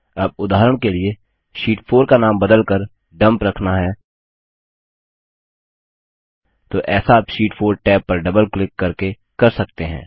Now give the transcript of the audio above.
अब उदाहरण के लिए शीट 4 का नाम बदलकर डम्प रखना है तो ऐसा आप शीट 4 टैब पर डबल क्लिक करके कर सकते हैं